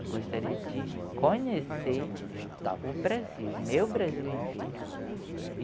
Eu gostaria de conhecer o Brasil, o meu Brasil inteiro.